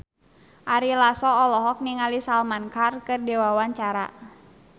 Ari Lasso olohok ningali Salman Khan keur diwawancara